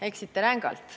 Eksite rängalt.